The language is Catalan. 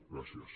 gràcies